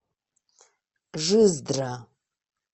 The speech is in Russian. жиздра